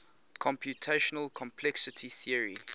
computational complexity theory